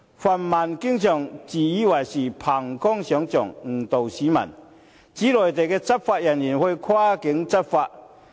泛民議員經常自以為是、憑空想象，誤導市民，指內地執法人員會跨境執法。